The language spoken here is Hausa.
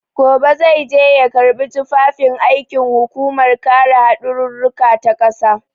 Gobe zai je ya karɓi tufafin aikin hukumar kare haɗarurruka ta ƙasa.